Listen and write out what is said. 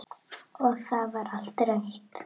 Og það var allt rautt.